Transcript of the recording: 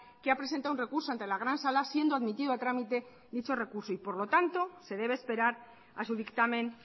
que ha presentado un recurso ante la gran sala siendo admitido a trámite dicho recurso y por lo tanto se debe esperar a su dictamen